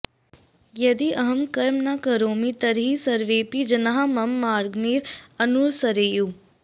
यदि अहं कर्म न करोमि तर्हि सर्वेऽपि जनाः मम मार्गमेव अनुसरेयुः